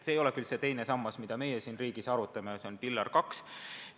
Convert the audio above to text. See ei ole muidugi see teine sammas, mida meie oma riigis arutame, see on Pillar 2.